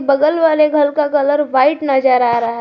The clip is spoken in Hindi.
बगल वाले घर का कलर व्हाइट नजर आ रहा--